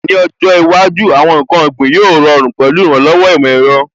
Ní ọjọ́ iwájú, àwọn ǹkan ọ̀gbìn gbíngbín yóò rọrùn pẹ̀lú ìrànlọ́wọ́ ìmọ̀ ẹ̀rọ.